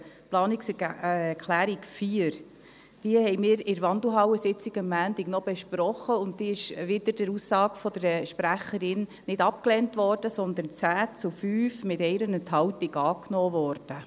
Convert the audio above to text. Diese haben wir in der Wandelhallensitzung am Montag noch besprochen, und sie ist entgegen der Aussage der Sprecherin nicht abgelehnt, sondern mit 10 zu 5 bei 1 Enthaltung angenommen worden.